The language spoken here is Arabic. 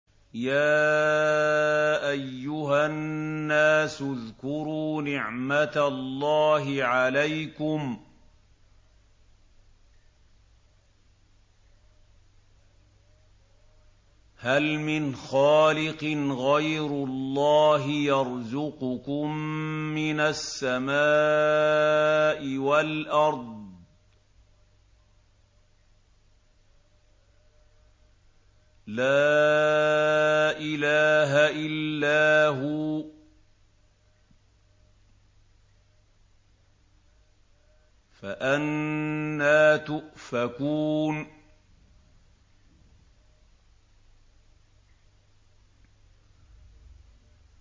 يَا أَيُّهَا النَّاسُ اذْكُرُوا نِعْمَتَ اللَّهِ عَلَيْكُمْ ۚ هَلْ مِنْ خَالِقٍ غَيْرُ اللَّهِ يَرْزُقُكُم مِّنَ السَّمَاءِ وَالْأَرْضِ ۚ لَا إِلَٰهَ إِلَّا هُوَ ۖ فَأَنَّىٰ تُؤْفَكُونَ